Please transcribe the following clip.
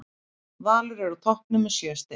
Valur er á toppnum með sjö stig.